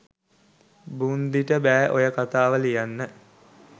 බුන්දිට බෑ ඔය කතාව ලියන්න